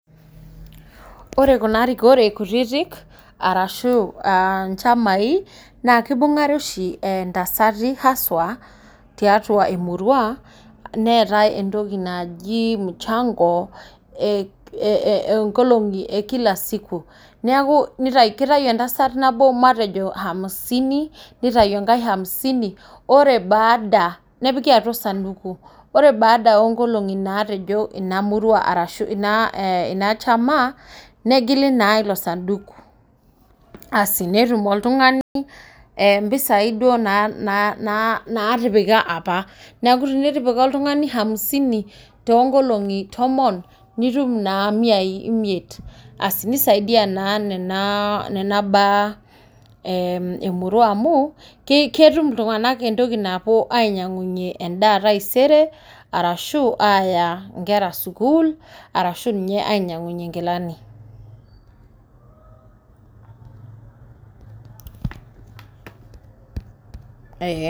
Ore kuna rikore kutitik arashu uh nchamai naa kibung'are oshi entasati haswa tiatua emurua neetae entoki naji mchango nkolong'i e kila siku neku kitayu entasat nabo matejo hamsini nitai enkae hamsini ore baada nepiki atua osanduku ore baada onkolong'i natejo ina murua arashu ina eh chama negili naa ilo sanduku asi netum oltung'ani eh impisai duo naa natipika apa neku tenitipa oltung'ani hamsini tonkolong'i tomon nitum naa miai imiet asi nisaidiyia naa nena baa eh emurua amu kei ketum iltung'anak entoki napuo ainyiang'unyie endaa taisere arashu aaya inkera sukuul arashu ninye ainyiang'unyie inkilani